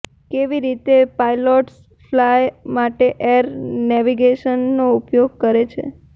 કેવી રીતે pilots fly માટે એર નેવિગેશનનો ઉપયોગ કરે છે